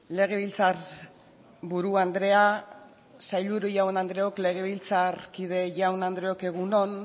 legebiltzar buru andrea sailburu jaun andreok legebiltzarkide jaun andreok egun on